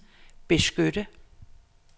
beskytte